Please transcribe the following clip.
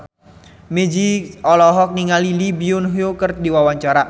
Meggie Z olohok ningali Lee Byung Hun keur diwawancara